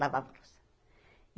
Lavava louça.